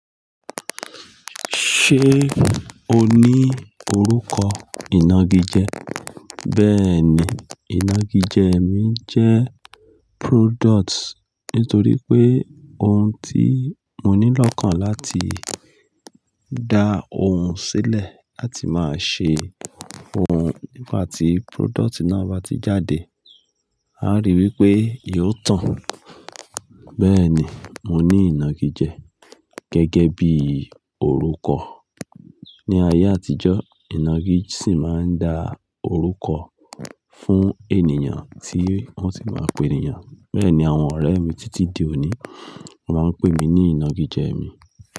Ṣé o ní orúkọ ìnagijẹ? Bẹ́ẹ̀ni, ìnagijẹ mi jẹ́ product, nítorí pé ohun tí mo nílò kan láti dá ohun sílẹ̀ láti máa ṣe ohun nígba tí product náà bá ti jáde, a ri pé yóò tàn. Bẹ́ẹ́ni mo ní ìnagijẹ gẹ́gẹ́ bí i orúkọ. Ni ayé àtijọ́, ìnagijẹ sì máa ń dá orúkọ fún ènìyàn tí wọ́n sì máa ń pè ènìyàn. Bẹ́ẹ̀ ni àwọn ọ̀rẹ́ mi títí di òní máa ń pè mí ní ìnagijẹ mi.